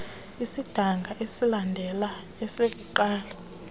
esidanga esilandela esokuqala